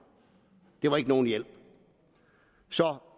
det var ikke nogen hjælp